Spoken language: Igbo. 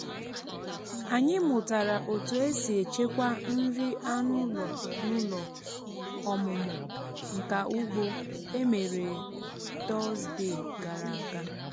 anyị mụtara otu e si echekwa nri anụ ụlọ n’ụlọ ọmụmụ nka ugbo e mere tọzdee gara aga